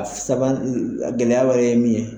A saba gɛlɛya wɛrɛ ye min ye.